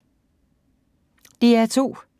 DR2